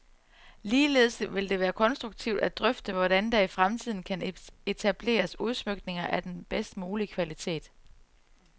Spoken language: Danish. Ligeledes vil det være konstruktivt at drøfte, hvordan der i fremtiden kan etableres udsmykninger af den bedst mulige kvalitet.